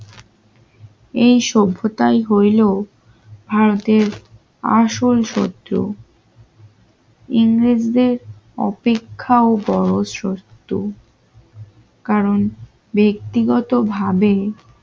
এই সভ্যতাই হইল ভারতের আসল শত্রু ইংরেজদের অপেক্ষা ও বড় সত্য কারণ ব্যক্তিগতভাবে